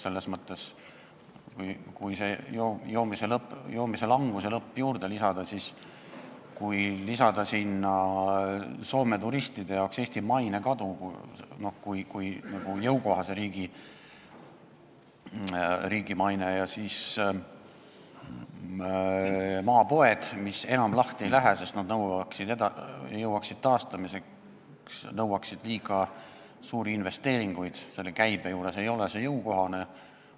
Juurde tuleb lisada joomise languse lõpp, Eesti kui jõukohase riigi maine kadu Soome turistide jaoks ja maapoed, mida enam lahti ei tehta, sest nende taastamine nõuaks liiga suuri investeeringuid ja selle käibega ei ole see jõukohane.